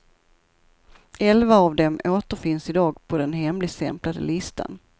Elva av dem återfinns i dag på den hemligstämplade listan.